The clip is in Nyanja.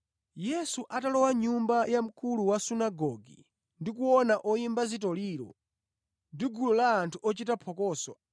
Yesu atalowa mʼnyumba ya mkulu wa sunagoge ndi kuona oyimba zitoliro ndi gulu la anthu ochita phokoso,